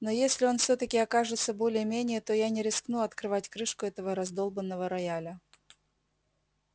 но если он всё-таки окажется более-менее то я не рискну открывать крышку этого раздолбанного рояля